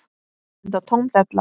Enda tóm della.